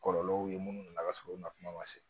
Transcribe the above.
Kɔlɔlɔw ye minnu nana ka sɔrɔ u ma kuma ma se